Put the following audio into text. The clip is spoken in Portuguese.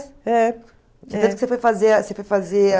É você foi fazer a você foi fazer a